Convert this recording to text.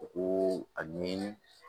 U ko a ni